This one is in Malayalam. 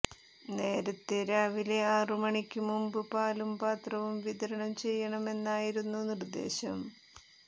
നേരത്തെ രാവിലെ ആറു മണിക്ക് മുമ്പ് പാലും പത്രവും വിതരണം ചെയ്യണമെന്നായിരുന്നു നിർദ്ദേശം